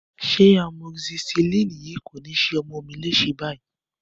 Ṣé amoxicilin yìí kò ni ṣe ọmọ mí lése báyìí?